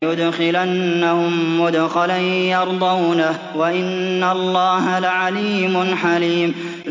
لَيُدْخِلَنَّهُم مُّدْخَلًا يَرْضَوْنَهُ ۗ وَإِنَّ اللَّهَ لَعَلِيمٌ حَلِيمٌ